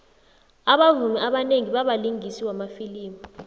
abavumi abanengi babalingisi wamafilimu